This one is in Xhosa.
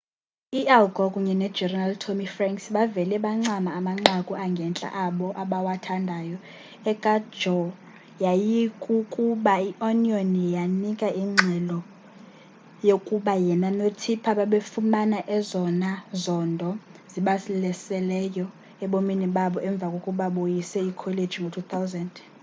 u-al gore kunye nogeneral tommy franks bavele bancama amanqaku angentla abo abawathandayo eka-gore yayikukuba i-onion yanika ingxelo yokuba yena no-tipper babefumana ezona zondo zibalaseleyo ebomini babo emva kokuba boyise ikholeji ngo-2000